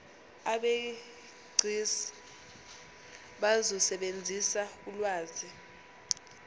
abegcis bazosebenzisa ulwazi